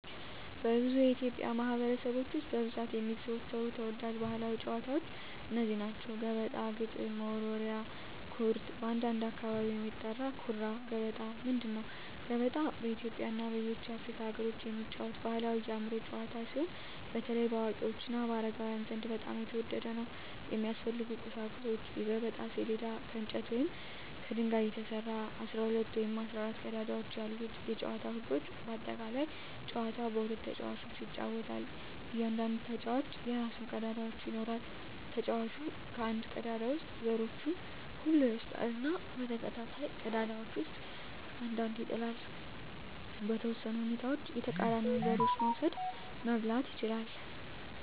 በብዙ የኢትዮጵያ ማኅበረሰቦች ውስጥ በብዛት የሚዘወተሩ ተወዳጅ ባሕላዊ ጨዋታዎች እነዚህ ናቸው፦ ገበጣ ግጥም መወርወሪያ / ኩርት (በአንዳንድ አካባቢ የሚጠራ) ኩራ ገበጣ ምንድን ነው? ገበጣ በኢትዮጵያ እና በሌሎች የአፍሪካ አገሮች የሚጫወት ባሕላዊ የአእምሮ ጨዋታ ሲሆን፣ በተለይ በአዋቂዎች እና በአረጋውያን ዘንድ በጣም የተወደደ ነው። የሚያስፈልጉ ቁሳቁሶች የገበጣ ሰሌዳ: ከእንጨት ወይም ከድንጋይ የተሰራ፣ 12 ወይም 14 ቀዳዳዎች ያሉት የጨዋታው ህጎች (በአጠቃላይ) ጨዋታው በሁለት ተጫዋቾች ይጫወታል። እያንዳንዱ ተጫዋች የራሱን ቀዳዳዎች ይኖራል። ተጫዋቹ ከአንድ ቀዳዳ ውስጥ ዘሮቹን ሁሉ ይወስዳል እና በተከታታይ ቀዳዳዎች ውስጥ አንድ አንድ ይጥላል። . በተወሰኑ ሁኔታዎች የተቃራኒውን ዘሮች መውሰድ (መብላት) ይችላል።